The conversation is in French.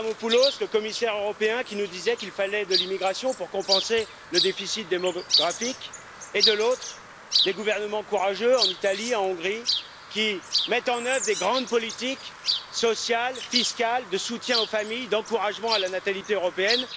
Avramopoulos, le commissaire européen, qui nous disait qu'il fallait de l'immigration pour compenser le déficit démographique et, de l'autre, les gouvernements courageux en Italie, en Hongrie, qui mettent en œuvre de grandes politiques sociales, fiscales, de soutien aux familles, d'encouragement à la natalité européenne.